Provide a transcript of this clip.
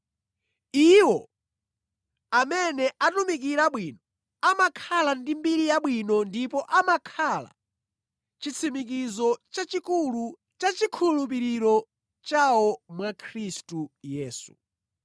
Iwo amene atumikira bwino amakhala ndi mbiri yabwino ndipo amakhala chitsimikizo chachikulu cha chikhulupiriro chawo mwa Khristu Yesu.